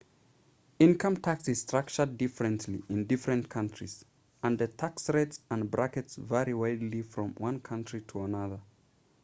income tax is structured differently in different countries and the tax rates and brackets vary widely from one country to another